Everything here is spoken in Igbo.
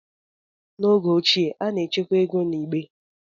N'oge ochie, a na-echekwa ego na igbe,